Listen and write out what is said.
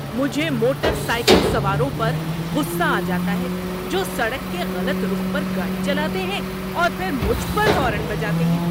مجھے motorcycle سواروں پر غصّہ آ جاتا ہے جو سڑک کے غلط رخ پر گاڑی چلاتے ہیں اور پھر مجھ پر ہارن بجاتے ہیں۔